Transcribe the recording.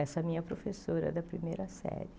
Essa minha professora da primeira série.